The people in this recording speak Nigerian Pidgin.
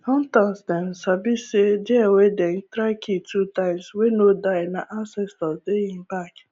hunters dem sabi say deer wey dem try kill two times wey no die nah ansestors dey hin bak